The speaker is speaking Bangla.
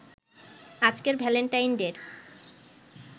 আজকের ভ্যালেন্টাইন ডে’র